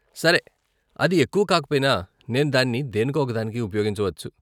సరే, అది ఎక్కువ కాకపోయినా, నేను దాన్ని దేనికో ఒకదానికి ఉపయోగించవచ్చు.